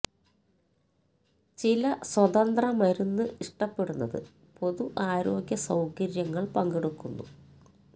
ചില സ്വതന്ത്ര മരുന്ന് ഇഷ്ടപ്പെടുന്നത് പൊതു ആരോഗ്യ സൌകര്യങ്ങൾ പങ്കെടുക്കുന്നു